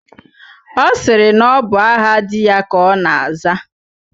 Ọ sịrị na ọ bụ aha di ya ka ọ na-aza.